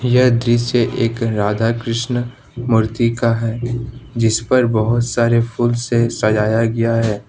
यह दृश्य एक राधा कृष्ण मूर्ति का है जिसपर बहोत सारे फूल से सजाया गया है।